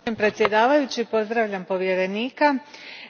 Gospodine predsjedniče, pozdravljam povjerenika,